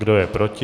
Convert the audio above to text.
Kdo je proti?